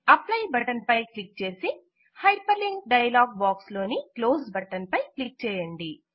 apply button పై click చేసి hyperlink dialogue box లోని క్లోస్ బటన్ పై క్లిక్ చేయండి